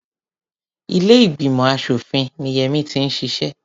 Ilé ìgbìmọ̀ aṣòfin ni Yẹmí ti ń ṣiṣẹ́.